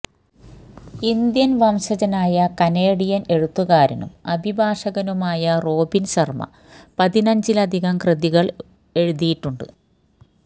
Indian വംശജനായ Canadian എഴുത്തുകാരനും അഭിഭാഷകനുമായ റോബിന് ശര്മ പതിനഞ്ചിലധികം കൃതികള് എഴുതിയിട്ടുണ്ട്